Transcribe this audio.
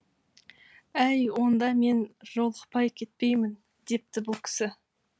әй онда мен жолықпай кетпеймін депті бұл кісі